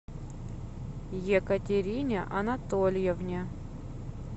екатерине анатольевне